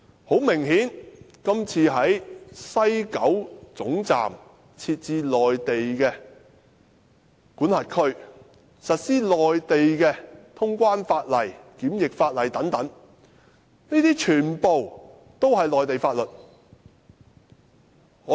很明顯，今次在西九站設置內地管轄區，實施內地清關、檢疫法例等，全部也是內地法律。